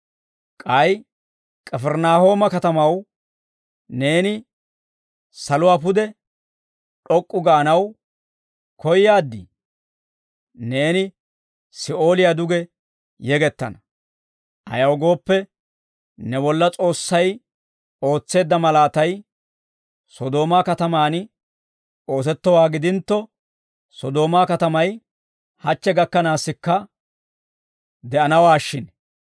K'ay K'ifirinaahooma katamaw, neeni saluwaa pude d'ok'k'u gaanaw koyaad? Neeni Si'ooliyaa duge yegettana; ayaw gooppe, ne bolla S'oossay ootseedda malaatay Sodoomaa katamaan oosettowaa gidintto, Sodoomaa katamay hachche gakkanaassikka de'anawaashshin.